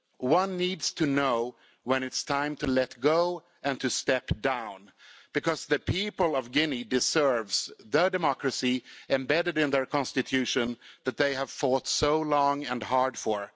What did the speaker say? One needs to know when it's time to let go and to step down, because the people of Guinea deserve their democracy embedded in their constitution that they have fought so long and hard for.